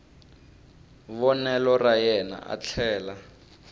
vonelo ra yena a tlhela